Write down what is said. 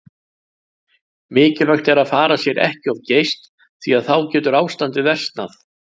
Mikilvægt er að fara sér ekki of geyst því að þá getur ástandið versnað.